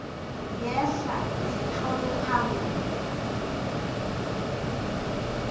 ngehla zitlolwe phambi